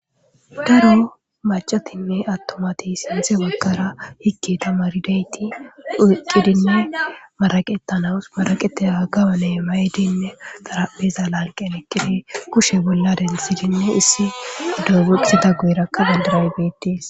Daro macatinne atumati sinththe bagara hige tamaridayitt oyikinne maraqetanawu maraqetiza gawonne mayidd nne xarphpheza laniqqenni eqqid kushshe bolla denthid nne issi dawe boxida banidirayikka betees.